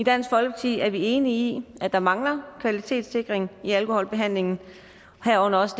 i dansk folkeparti er vi enige i at der mangler kvalitetssikring i alkoholbehandlingen herunder også